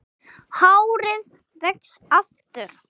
Hárið vex aftur.